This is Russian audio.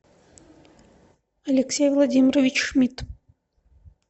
алексей владимирович шмидт